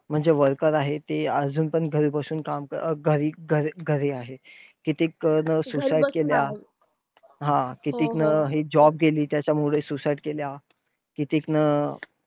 म्हणजे worker आहे ते अजून पण घरी बसून काम कर अं घरी घरी घरी आहे. कितीक नं घरी बसून आहेत. suicide केलीया. हा! कितीक नं हे job गेली म्हणून suicide केलीया. कितीक नं